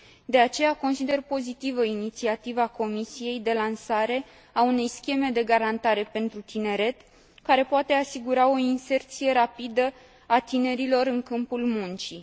De aceea, consider pozitivă inițiativa Comisiei de lansare a unei scheme de garantare pentru tineret, care poate asigura o inserție rapidă a tinerilor în câmpul muncii.